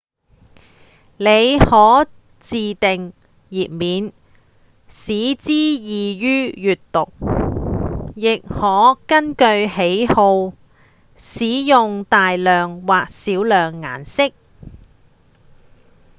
您可自訂頁面使之易於閱讀：亦可根據喜好使用大量或少量顏色